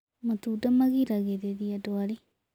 Matunda magĩragĩrĩrĩa ndwarĩ